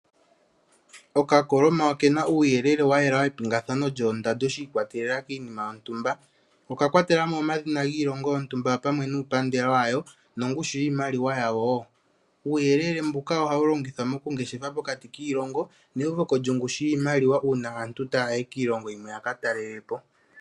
Okakoloma oke na uuyelele wa yela wepingathano lyoondando shi ikwatelela kiinima yontumba. Oka kwatela mo omadhina giilongo yontumba opwamwe nuupandela wayo nongushu yiimaliwa yawo woo. Uuyelele mbuka ohawu longithwa moku ngeshefa pokati kiilongo neuveko lyongushu yiimaliwa uuna aantu taya yi kiilongo yimwe ya ka talelepo.